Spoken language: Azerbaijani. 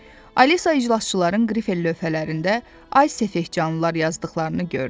Alisa iclasçıların qrifel lövhələrində "Ay səfehcanlılar" yazdıqlarını gördü.